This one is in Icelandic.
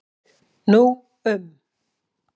Nú um